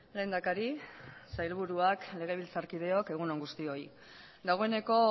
lehendakari sailburuak legebiltzarkideok egun on guztioi dagoeneko